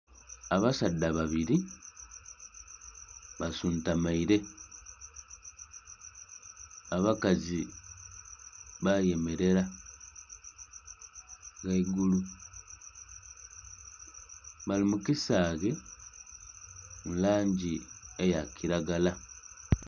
Abasaadha babiri basuntumaire, abakazi bayemerera ghaigulu. Bali mu kisaghe mu langi eya kiragala.